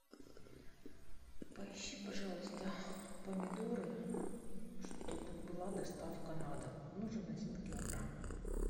поищи пожалуйста помидоры чтобы была доставка на дом нужен один килограмм